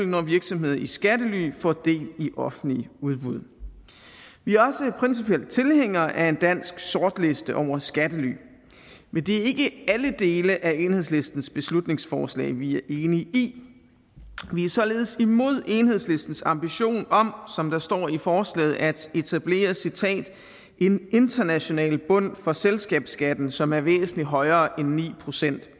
når virksomheder i skattely får del i offentlige udbud vi er også principielt tilhængere af en dansk sortliste over skattely men det er ikke alle dele af enhedslistens beslutningsforslag vi er enige i vi er således imod enhedslistens ambition om som der står i forslaget at etablere en international bund for selskabsskatten som er væsentlig højere end ni procent